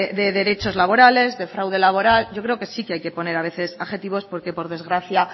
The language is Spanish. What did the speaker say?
de derechos laborales de fraude laboral yo creo que sí hay que poner a veces adjetivos porque por desgracia